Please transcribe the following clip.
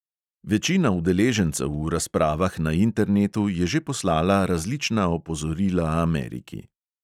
Večina udeležencev v razpravah na internetu je že poslala različna opozorila ameriki.